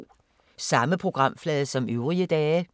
Samme programflade som øvrige dage